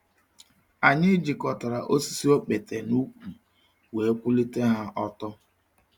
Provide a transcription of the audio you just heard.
Anyị jikọtara osisi okpete n’ukwu wee kwụlite ha ọtọ.